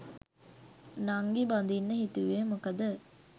නංගි බඳින්න හිතුවේ මොකද?